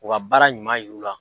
U ka baara ɲuman yir'u la.